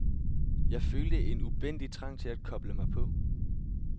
Jeg følte en ubændig trang til at koble mig på.